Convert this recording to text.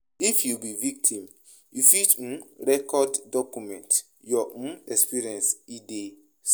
If you be victim, you fit um record or document your um experience if e dey safe